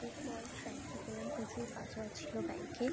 এরপর ব্যাঙ্ক -এ গেলাম। প্রচুর কাজবাজ ছিল ব্যাঙ্ক -এ।